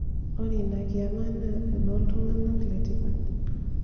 ore inakiama naa enoltunganak letipat